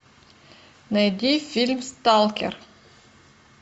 найди фильм сталкер